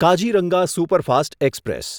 Kaziranga superfast express